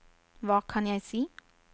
hva kan jeg si